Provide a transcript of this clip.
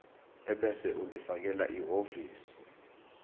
ebese ulifakela ehhovisi